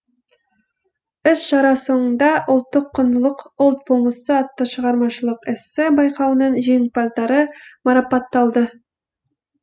іс шара соңында ұлттық құндылық ұлт болмысы атты шығармашылық эссе байқауының жеңімпаздары марапатталды